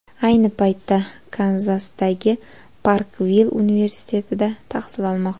Ayni paytda Kanzasdagi Parkvill universitetida tahsil olmoqda.